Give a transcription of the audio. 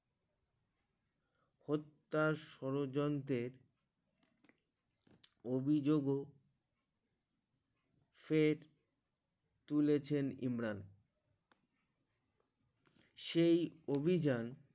প্রত্যাশ সড়যন্তে অভিযোগ ফের তুলেছেন ইমরান সেই অভিযান